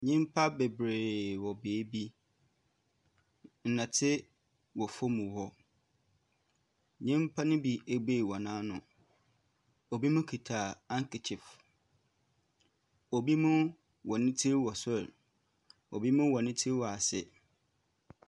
Nnipa bebree wɔ baabi, nnoteɛ wɔ fɔm hɔ. Nnipa no bi abue wɔn ano, ɛbi mo kita hankakyif, obi mo wɔn tiri wɔ soro, obi wɔn tiri wɔ ase.